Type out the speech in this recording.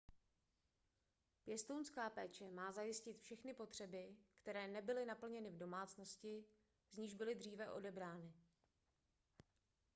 pěstounská péče má zajistit všechny potřeby které nebyly naplněny v domácnosti z níž byly dříve odebrány